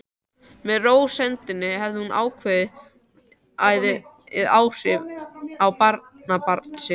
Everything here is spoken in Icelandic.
Með rósemdinni hafði hún jákvæð áhrif á barnabarn sitt.